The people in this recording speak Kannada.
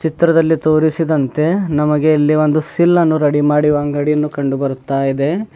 ಚಿತ್ರದಲ್ಲಿ ತೋರಿಸಿದಂತೆ ನಮಗೆ ಇಲ್ಲಿ ಒಂದು ಸಿಲ್ಲ್ ಅನ್ನು ರೆಡಿ ಮಾಡುವ ಅಂಗಡಿಯನ್ನು ಕಂಡು ಬರುತ್ತಾ ಇದೆ.